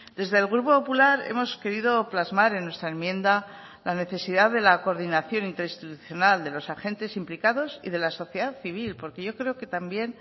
desde el grupo popular hemos querido plasmar en nuestra enmienda la necesidad de la coordinación interinstitucional de los agentes implicados y de la sociedad civil porque yo creo que también